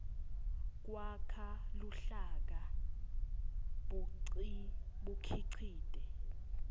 kwakha luhlaka bukhicite